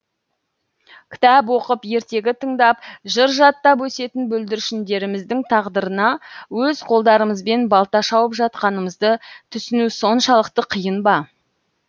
кітап оқып ертегі тыңдап жыр жаттап өсетін бүлдіршіндеріміздің тағдырына өз қолдарымызбен балта шауып жатқанымызды түсіну соншалықты қиын ба